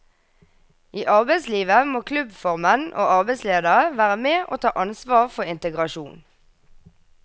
I arbeidslivet må klubbformenn og arbeidsledere være med og ta ansvar for integrasjon.